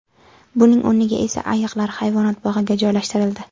Buning o‘rniga esa ayiqlar hayvonot bog‘iga joylashtirildi.